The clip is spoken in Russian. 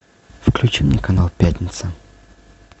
включи мне канал пятница